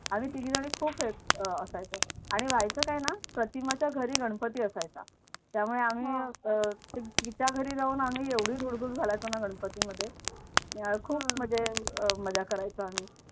आम्ही तिघी जणी खूप हे असायचो व्हायचं काय ना प्रतिमाच्या घरी गणपती असायचा त्यामुळे आम्ही अह तिच्या घरी जाऊन आम्ही एवढी धुडघूस घालायचो की गणपतीमध्ये खूप म्हणजे अह मजा करायचोआम्ही.